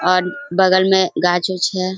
और बगल में गाछ-उछ है ।